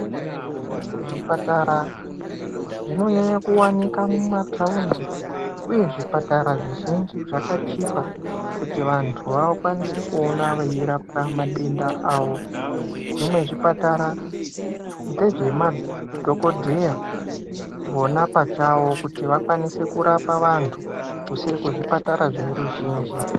Zvipatara zvinonyanya kuwanika maumataundi uye zvipatara zvizhinji zvakachipa kuti vantu vakwanise kuona veirapwa madenda avo. Zvimwe zvipatara ndezvemadhogodheya vona pachavo kuti vakwanise kurapa vantu kusiri kuzvipatara zveruzhinji.